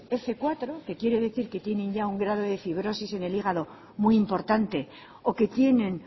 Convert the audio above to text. fmenos cuatro que quiere decir que tienen ya un grado de fibrosis en el hígado muy importante o que tienen